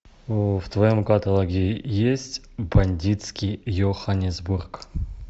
в твоем каталоге есть бандитский йоханнесбург